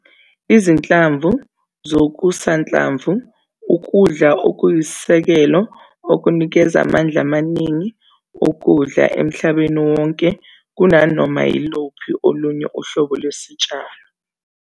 Izinhlamvu zokusanhlamvu ukudla okuyisisekelo okunikeza amandla amaningi okudla emhlabeni wonke kunanoma yiluphi olunye uhlobo lwesitshalo.